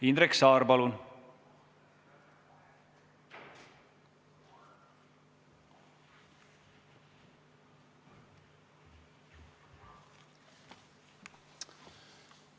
Indrek Saar, palun!